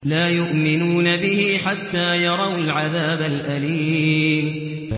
لَا يُؤْمِنُونَ بِهِ حَتَّىٰ يَرَوُا الْعَذَابَ الْأَلِيمَ